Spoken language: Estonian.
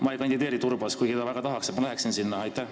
Ma ei kandideeri Turbas, kuigi ta väga tahaks, et ma sinna läheksin.